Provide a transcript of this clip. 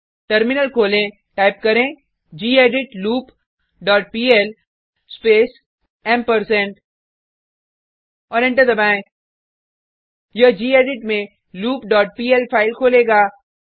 terminal खोलें type करें gedit loop dot PL space ampersand और एंटर दबाएँ यह गेडिट में लूप डॉट पीएल फाइल खोलेगा